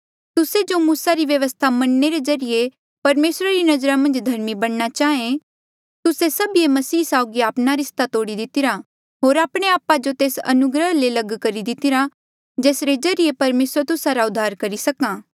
तुस्से जो मूसा री व्यवस्था मनणे रे ज्रीए परमेसरा री नजरा मन्झ धर्मी बणना चाहें तुस्से सभीए मसीह साउगी आपणा रिस्ता तोड़ी दितिरा होर आपणे आपा जो तेस अनुग्रह ले लग करी दितिरा जेसरे ज्रीए परमेसरे तुस्सा रा उद्धार करी सका